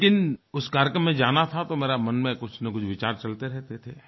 लेकिन उस कार्यक्रम में जाना था तो मेरे मन में कुछनकुछ विचार चलते रहते थे